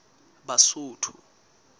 basotho